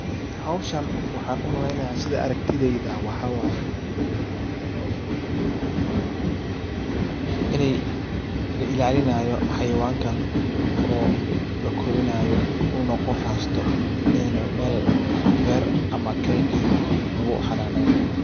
Hawshan waxaan u maleynaya sida aragtidayda ah waxaa waaye inay la ilaaalinayo xayawankan oo la korinayo uuna qof haysto ayna mel beer ama keyd eh lagu xananeynaayo.